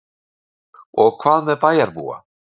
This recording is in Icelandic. Og hvað með bæjarbúa?